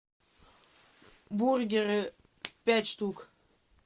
бургеры пять штук